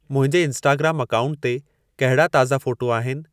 मुंहिंजे इंस्टाग्रामु अकाउंट ते कहिड़ा ताज़ा फ़ोटू आहिनि